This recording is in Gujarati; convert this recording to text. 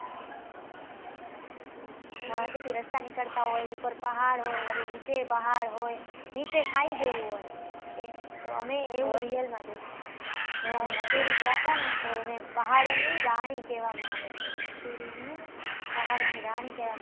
એની વચ્ચેથી રસ્તા નીકળતા હોય, ઉપર પહાડ હોય, વળી નીચે ય પહાડ હોય, નીચે ખાઈ જેવું હોય, અમે એવું real માં એવું જોયું એમ, અમે મસૂરી ગયા હતા ને, તો એને પહાડોની રાણી કહેવામાં આવે છે, મસૂરીને પહાડોની રાણી કહેવામાંં